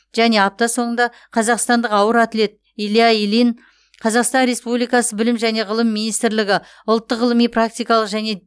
және апта соңында қазақстандық ауыр атлет илья ильин қазақстан республикасы білім және ғылым министрлігі ұлттық ғылыми практикалық және